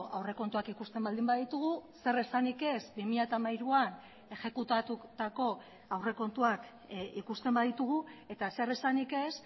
aurrekontuak ikusten baldin baditugu zer esanik ez bi mila hamairuan exekutatutako aurrekontuak ikusten baditugu eta zer esanik ez